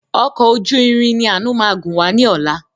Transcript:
Ọkọ̀ ojú irin ni ànu máa gun wá ní ọ̀la.